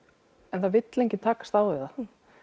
en það vill enginn takast á við það